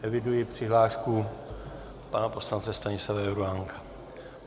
Eviduji přihlášku pana poslance Stanislava Juránka.